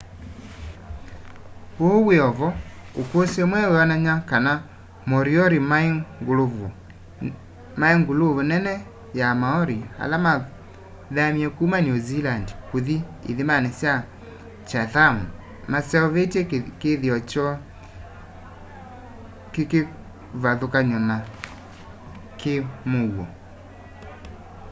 uu wiovo ukusi mweu wionany'a kana moriori mai nguluvu nene ya maori ala mathamie kuma new zealand kuthi ithimani sya chatham maseuvitye kithio kyoo kikivathukany'o na ki muuo